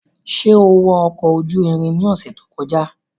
Ṣe o wọ ọkọ oju irin ni ọsẹ to kọja?